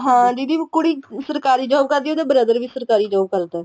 ਹਾਂ ਦੀਦੀ ਕੁੜੀ ਸਰਕਾਰੀ job ਕਰਦੀ ਆ ਉਹਦੇ brother ਵੀ ਸਰਕਾਰੀ job ਕਰਦੇ ਏ